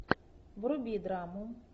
вруби драму